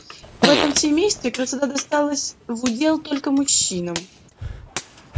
в этом семействе красота досталась в удел только мужчинам